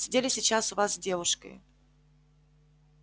сидели сейчас у вас с девушкой